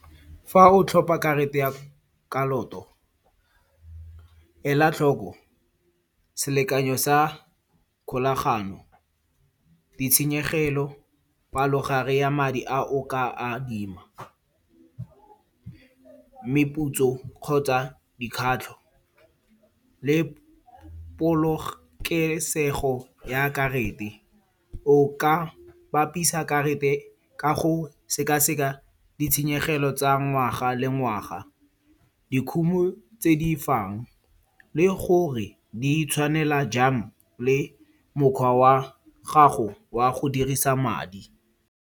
Fa o tlhopa karate ya kaloto ela tlhoko selekanyo sa kgolagano, ditshenyegelo, palogare ya madi a o ka a adima. Meputso kgotsa dikgatlho le polokesego ya karata. O ka bapisa karata ka go seka-seka ditshenyegelo tsa ngwaga le ngwaga. Dikhumo tse di fang le gore di tshwanela jang le mokgwa wa gago wa go dirisa madi.